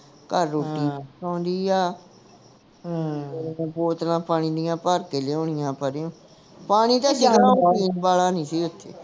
ਘੱਰ ਰੋਟੀਆਂ ਪਕਾਉਂਦੀ ਆ ਬੋਤਲਾਂ ਪਾਣੀ ਦੀਆਂ ਭਰ ਕੇ ਲਿਆਉਣੀਆਂ ਪਰਿਯੋ ਪਾਣੀ ਤਾਂ ਪੀਣ ਵਾਲਾ ਨਹੀਂ ਸੀ ਇਥੇ